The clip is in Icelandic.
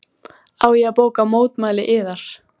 Á ég að bóka mótmæli yðar?